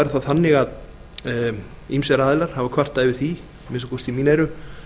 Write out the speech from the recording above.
er það þannig að ýmsir aðilar hafa kvartað yfir því að minnsta kosti í mín eyru